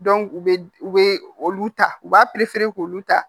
u bɛ u bɛ olu ta u b'a k'olu ta